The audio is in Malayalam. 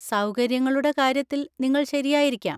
സൗകര്യങ്ങളുടെ കാര്യത്തിൽ നിങ്ങൾ ശരിയായിരിക്കാം.